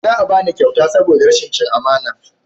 Za a bani kyauta saboda rashin cin amana ta